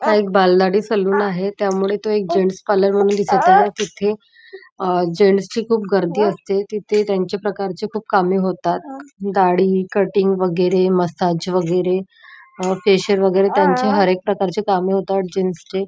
हा एक बालाडी सलून आहे त्यामुळ तो एक जेंट्स पार्लर म्हणुन दिसत आहे तिथ जेंट्स ची खुप गर्दी असते तिथे त्यांच्या प्रकारची खुप कामे होतात दाढी कटिंग वैगेरे मशाज वैगेरे फेशिअल वैगेरे त्यांचे हर एक प्रकारचे कामे होतात जेंट्स चे.